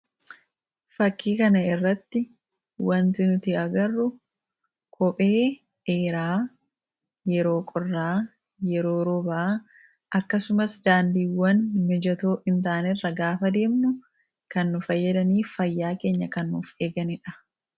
fakkii kana irratti wanti nuti agarru kophee dheeraa yeroo qorraa yeroo roobaa akkasumas daandiiwwan mijatoo hin ta'an irra gaafa deemnu kan nu fayyadaniif fayyaa keenya kennuuf eeganiidha.